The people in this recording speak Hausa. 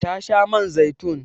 Ta sha man zaitun.